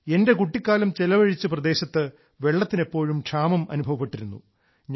എന്റെ കുട്ടിക്കാലം ചെലവഴിച്ച പ്രദേശത്ത് വെള്ളത്തിന് എപ്പോഴും ക്ഷാമം അനുഭവപ്പെട്ടിരുന്നു